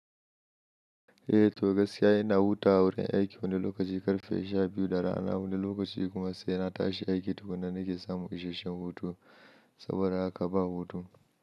Eh, to gaskiya ina hutawa a wurin aiki wani lokaci ƙarfe sha biyu da rana wani lokaci kuma sai na tashi aiki duk da nake samu isashen hutu saboda haka ba hutu.